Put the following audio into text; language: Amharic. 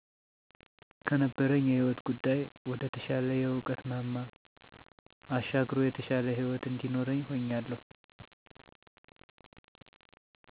ከነበረኝ የህይወት ጉዳይ ወደ ተሻለ የእዉቀት ማማ አሻግሮ የተሻለ ህይወት እንዲኖርኝ ሁኛለሁ